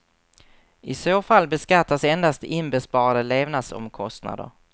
I så fall beskattas endast inbesparade levnadsomkostnader.